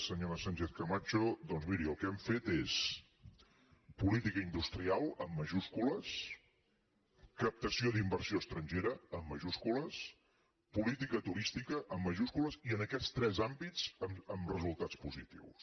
senyora sánchez camacho doncs miri el que hem fet és política industrial en majúscules captació d’inversió estrangera en majúscules política turística en majúscules i en aquests tres àmbits amb resultats positius